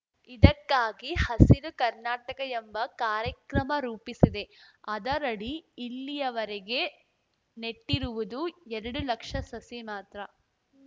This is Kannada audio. ಇದಕ್ಕಾಗಿ ಹಸಿರು ಕರ್ನಾಟಕ ಎಂಬ ಕಾರ್ಯಕ್ರಮ ರೂಪಿಸಿದೆ ಅದರಡಿ ಇಲ್ಲಿಯವರೆಗೆ ನೆಟ್ಟಿರುವುದು ಎರಡು ಲಕ್ಷ ಸಸಿ ಮಾತ್ರ